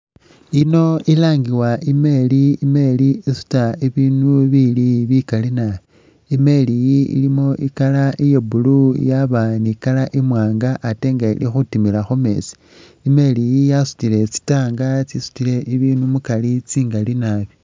Yino ilangibwa i'meri, i'meri isuta ibinu bili bikali nabi, i'meri iyi ilimo i'colour iya blue, yaba ni i'colour imwaanga ate nga ili khutimila khu meetsi. I'meri iyi yasutile tsi tank tsitsisutile ibindu mukari tsingali nabi.